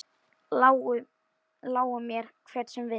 Lái mér, hver sem vill.